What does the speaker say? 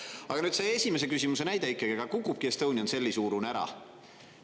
Aga nüüd see esimese küsimuse näide ikkagi: aga kukubki Estonian Celli suurune ära.